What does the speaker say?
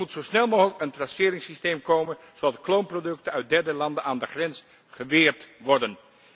Er moet zo snel mogelijk een traceringssysteem komen, zodat de kloonproducten uit derde landen aan de grens geweerd worden.